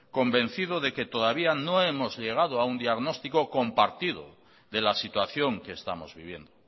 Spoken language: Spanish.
convencido de que todavía no hemos llegado a un diagnóstico compartido de la situación que estamos viviendo